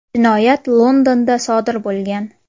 Jinoyat Londonda sodir bo‘lgan.